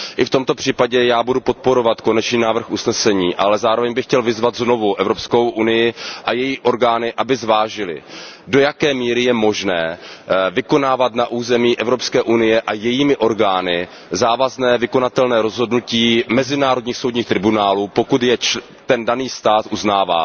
I v tomto případě já budu podporovat konečný návrh usnesení, ale zároveň bych chtěl vyzvat znovu Evropskou unii a její orgány, aby zvážily, do jaké míry je možné vykonávat na území Evropské unie a jejími orgány závazné vykonatelné rozhodnutí mezinárodních soudních tribunálů, pokud je ten daný stát uznává.